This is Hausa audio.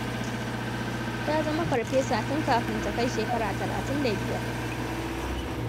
Ta zama farfesa tun kafin ta kai shekara talatin da biyar.